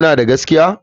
Kuna da gaskiya?